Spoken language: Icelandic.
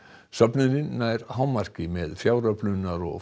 söfnunin nær hámarki með fjáröflunar og